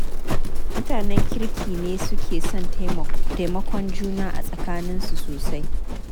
Mutanen kirki ne suke son taimakon juna a tsakaninsu sosai.